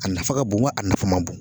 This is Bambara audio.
A nafa ka bon wa a nafa man bon ?